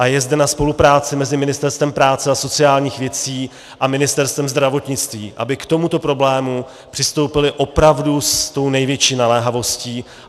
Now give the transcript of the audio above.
A je zde na spolupráci mezi Ministerstvem práce a sociálních věcí a Ministerstvem zdravotnictví, aby k tomuto problému přistoupila opravdu s tou největší naléhavostí.